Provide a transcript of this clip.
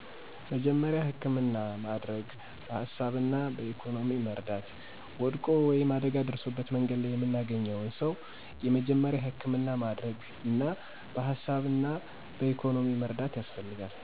መጀመሪያ ሀከምና ማደረግ በሀሳብምሆና በኢኮኖሚ መርዳት